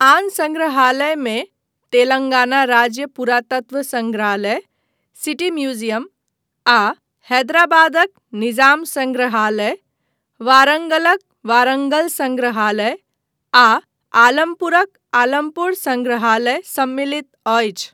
आन सङ्ग्रहालयमे तेलङ्गाना राज्य पुरातत्व सङ्ग्रहालय, सिटी म्यूजियम आ हैदराबादक निजाम सङ्ग्रहालय, वारङ्गलक वारङ्गल सङ्ग्रहालय, आ आलमपुरक आलमपुर सङ्ग्रहालय सम्मिलित अछि।